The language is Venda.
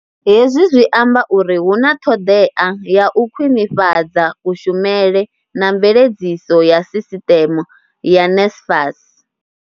Hezwi zwi amba uri hu na ṱhoḓea ya u khwiṋifhadza kushumele na mveledziso ya sisteme ya NSFAS.